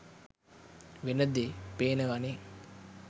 වෙන දේ පේනවානෙ.